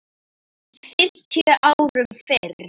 fimmtíu árum fyrr.